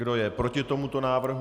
Kdo je proti tomuto návrhu?